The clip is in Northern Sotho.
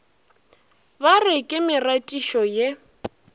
ba re ke meratišo ye